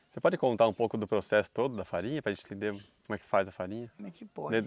Você pode contar um pouco do processo todo da farinha para gente entender como é que faz a farinha como é que se?